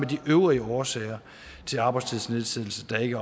de øvrige årsager til arbejdstidsnedsættelse der ikke